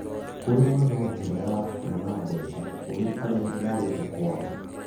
Kũrĩma no njĩra ya kuona mbeca kũrĩ arĩa morĩte kwaao